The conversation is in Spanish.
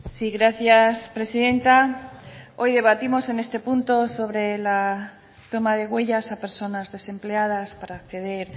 sí gracias presidenta hoy debatimos en este punto sobre la toma de huellas a personas desempleadas para acceder